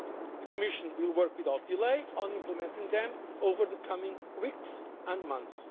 The Commission will work without delay on implementing them over the coming weeks and